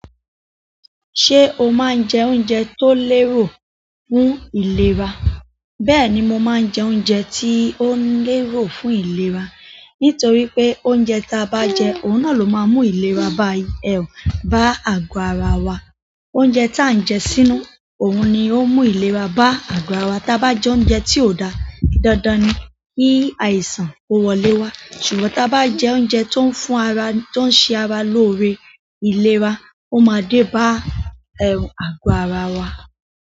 Ṣé o máa ń jẹ oúnjẹ tó lérò fún ìlera? Bẹ́ẹ̀ni, mo máa ń jẹ oúnjẹ tí ó lérò fún ìlera. Nítorí pé oúnjẹ ta bá jẹ, òun náà ló máa ń mú ìlera bá àgọ́ ara wa. Oúnjẹ tí à ń jẹ sínú, òun ni ó ń mú ìlera bá àgọ́ ara wa. Tá bá jẹ oúnjẹ tí ò dáa, dandan ni kí àìsàn ó wọlé wá. Ṣùgbọ́n tá bá jẹ oúnjẹ tó ń fún ara, tó ń ṣe ara lóore ìlera, ó máa dé bá àgọ́ ara wa.